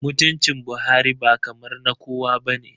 Mutuncin Buhari ba kamar na kowa ba ne